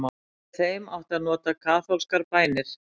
Með þeim átti að nota kaþólskar bænir.